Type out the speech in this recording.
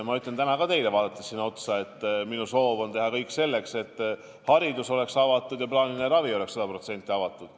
Ma ütlen täna ka, vaadates siin teile otsa, nii: minu soov on teha kõik selleks, et haridus oleks avatud ja plaaniline ravi oleks sada protsenti avatud.